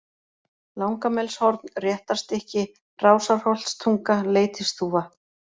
Langamelshorn, Réttarstykki, Rásarholtstunga, Leitisþúfa